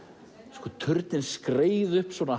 sko turninn skreið upp